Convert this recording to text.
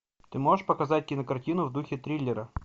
ты можешь показать кинокартину в духе триллера